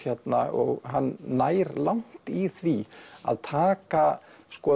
og hann nær langt í því að taka